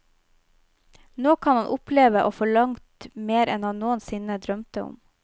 Nå kan han oppleve å få langt mer enn han noen sinne drømte om.